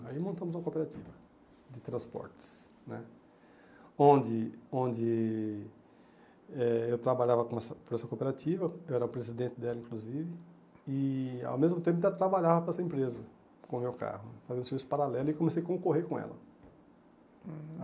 Aí montamos uma cooperativa de transportes né, onde onde eh eu trabalhava com essa para essa cooperativa, eu era o presidente dela, inclusive, e, ao mesmo tempo, ainda trabalhava para essa empresa, com o meu carro, fazendo serviços paralelos, e comecei a concorrer com ela. Uhum